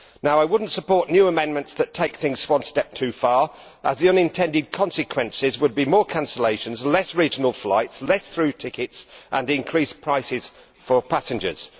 I would not support new amendments that take things one step too far, as the unintended consequences would be more cancellations, fewer regional flights, fewer through tickets and increased prices for passengers.